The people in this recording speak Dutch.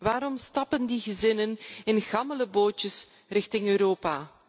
Waarom stappen die gezinnen in gammele bootjes richting Europa?